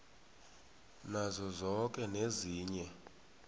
nazo zoke ezinye